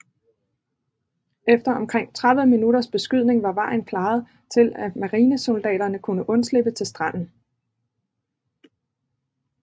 Efter omkring 30 minutters beskydning var vejen klaret til at marinesoldaterne kunne undslippe til stranden